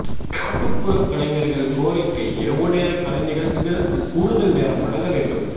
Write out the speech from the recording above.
நாட்டுப்புற கலைஞர்கள் கோரிக்கை இரவு நேர கலை நிகழ்ச்சிகளுக்கு கூடுதல் நேரம் வழங்க வேண்டும்